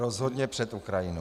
Rozhodně před Ukrajinu.